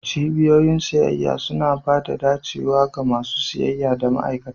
Cibiyoyin siyayya suna ba da dacewa ga masu siyayya da ma'aikata.